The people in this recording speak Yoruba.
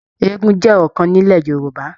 Eégún jẹ ọkan nilẹ̀ Yorùbá.